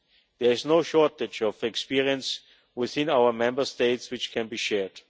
There is no shortage of experience within our Member States which can be shared.